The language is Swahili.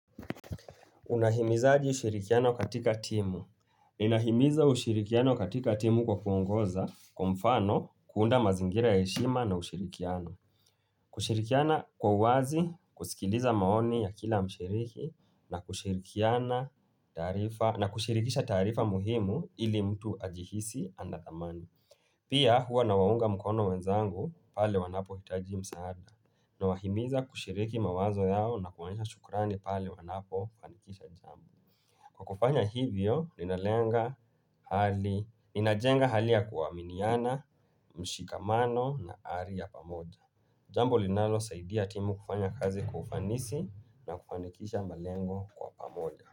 Unahimizaji ushirikiano katika timu. Ninahimiza ushirikiano katika timu kwa kuongoza kwa mfano kuunda mazingira ya heshima na ushirikiano. Kushirikiana kwa uwazi, kusikiliza maoni ya kila mshiriki na kushirikisha taarifa muhimu ili mtu ajihisi ana dhamani. Pia huwa na waunga mkono wenzangu pale wanapo hitaji msaada na wahimiza kushiriki mawazo yao na kuonesha shukrani pale wanapo fanikisha jambo Kwa kufanya hivyo, ninalenga hali, ninajenga hali ya kuaminiana, mshikamano na ari ya pamoja Jambo linalo saidia timu kufanya kazi kwa ufanisi na kufanikisha malengo kwa pamoja.